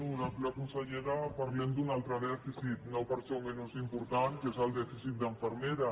honorable consellera parlem d’un altre dèficit no per això menys important que és el dèficit d’infermeres